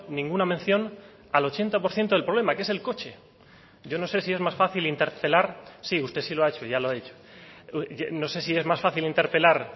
ninguna mención al ochenta por ciento del problema que es el coche yo no sé si es más fácil interpelar sí usted sí lo ha hecho ya lo ha dicho no sé si es más fácil interpelar